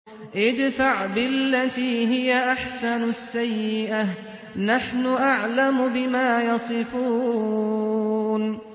ادْفَعْ بِالَّتِي هِيَ أَحْسَنُ السَّيِّئَةَ ۚ نَحْنُ أَعْلَمُ بِمَا يَصِفُونَ